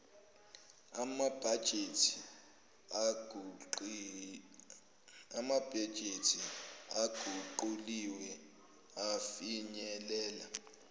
amabhajethi aguquliwe afinyelela